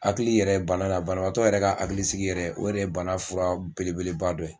Hakili yɛrɛ banna la banabaabatɔ yɛrɛ ka hakilisigi yɛrɛ o yɛrɛ bana fura belebeleba dɔ ye.